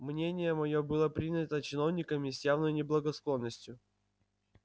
мнение моё было принято чиновниками с явною не благосклонностью